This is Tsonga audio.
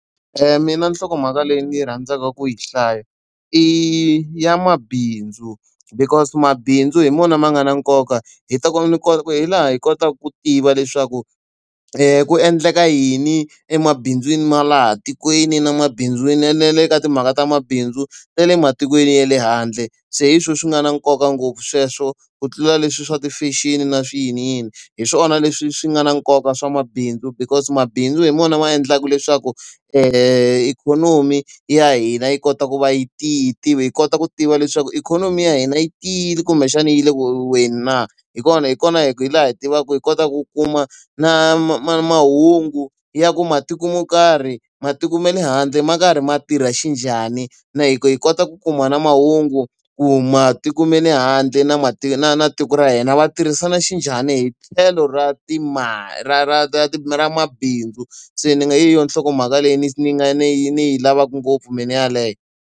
mina nhlokomhaka leyi ndzi yi rhandzaka ku yi hlaya i ya mabindzu because mabindzu hi wona ma nga na nkoka, hi laha hi kotaka ku tiva leswaku ku endleka yini emabindzwini ma laha tikweni na mabindzu na le ka timhaka ta mabindzu ta le matikweni ya le handle. Se hi swona swi nga na nkoka ngopfu sweswo ku tlula leswi swa ti-fashion na swiyiniyini. Hi swona leswi swi nga na nkoka swa mabindzu because mabindzu hi wona ma endlaka leswaku ikhonomi ya hina yi kota ku va yi tiya, hi kota ku tiva leswaku ikhonomi ya hina yi tiyile kumbexana yi le ku weni na. Hi kona hi kona hi hi laha hi tivaku hi kota ku kuma na mahungu ya ku matiko mo karhi matiko ma le handle ma karhi ma tirha xinjhani, hi kota ku kuma na mahungu ku matiko ma le handle na na na tiko ra hina va tirhisana xinjhani hi tlhelo ra ra ra ra mabindzu se ni nge yi yona nhlokomhaka leyi ni ni nga ni y ni yi lavaku ngopfu mina yeleyo.